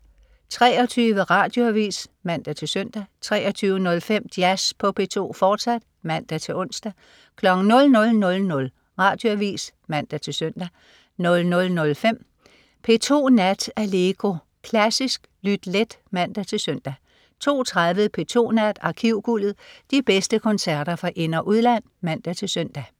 23.00 Radioavis (man-søn) 23.05 Jazz på P2, fortsat (man-ons) 00.00 Radioavis (man-søn) 00.05 P2 Nat. Allegro. Klassisk lyt let (man-søn) 02.30 P2 Nat. Arkivguldet. De bedste koncerter fra ind- og udland (man-søn)